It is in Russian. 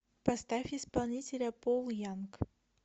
поставь исполнителя пол янг